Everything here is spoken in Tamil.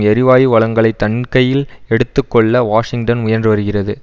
எரிவாயு வளங்களை தன்கையில் எடுத்து கொள்ள வாஷிங்டன் முயன்றுவருகிறது